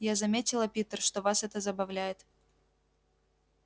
я заметила питер что вас это забавляет